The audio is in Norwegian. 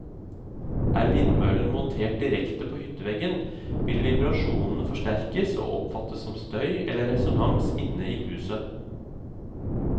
Er vindmøllen montert direkte på hytteveggen, vil vibrasjonene forsterkes og oppfattes som støy eller resonans inne i huset.